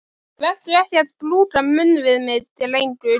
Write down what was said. Vertu ekki að brúka munn við mig, drengur!